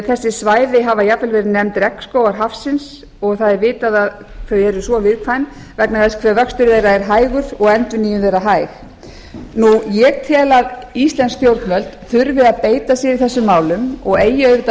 þessi svæði hafa jafnvel verið nefnd regnskógar hafsins og það er vitað að þau eru svo viðkvæm vegna þess hve vöxtur þeirra er hægur og endurnýjun þeirra hæg ég tel að íslensk stjórnvöld þurfi að beita sér í þessum málum og eigi auðvitað að